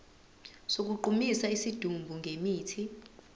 sokugqumisa isidumbu ngemithi